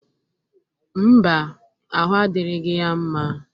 Mba, ahụ adịrịgị ya mma.